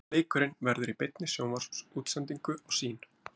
Leikurinn verður í beinni sjónvarpsútsendingu á Sýn.